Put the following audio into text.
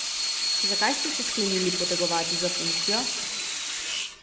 Zakaj ste se sklenili potegovati za funkcijo?